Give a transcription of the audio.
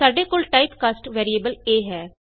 ਸਾਡੇ ਕੋਲ type cast variable a ਹੈ